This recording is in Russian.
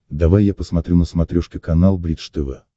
давай я посмотрю на смотрешке канал бридж тв